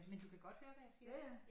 Men du kan godt høre hvad jeg siger